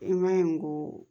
I ma ye ko